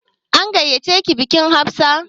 An gayyace ki bikin Hafsat?